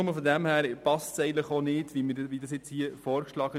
Nur schon deshalb passt der hier beantragte Artikel eigentlich nicht.